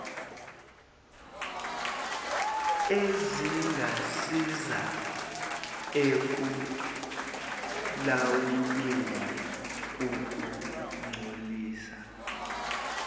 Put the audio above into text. ezingasiza ekulawulweni ukungcolisa